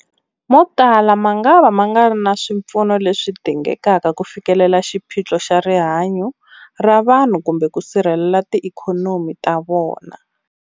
Motala mangava ma nga ri na swipfuno leswi dingekaka ku fikelela xiphiqo xa rihanyu ra vanhu kumbe ku sirhelela tiikhonomi ta vona.